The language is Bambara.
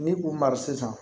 Ni k'u mara sisan